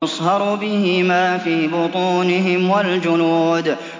يُصْهَرُ بِهِ مَا فِي بُطُونِهِمْ وَالْجُلُودُ